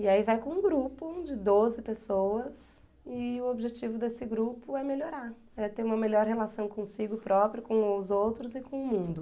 E aí vai com um grupo de doze pessoas e o objetivo desse grupo é melhorar, é ter uma melhor relação consigo própria, com os outros e com o mundo.